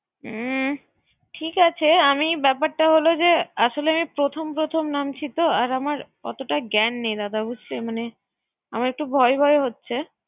হুম ঠিক আছে, আমি ব্যাপারটা হলো যে আসলে আমি প্রথম প্রথম নামছিতো আমার অতটা ঙ্ঘান নাই, দাদা বুঝছেন। মানে, আমার একটু ভয় ভয় হচ্ছে।